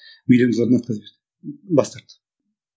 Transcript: отказ берді бас тартты